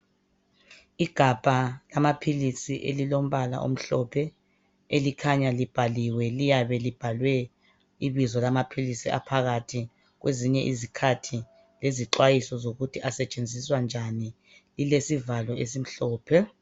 Igabha lamaphilisi elilombala omhlophe elikhanya libhaliwe liyabe libhalwe bizo lamaphilisi aphakathi kwezinye izikhathi lezixhwayiso zokuthi asetshenziswa njani ilesivalo esimhlophe.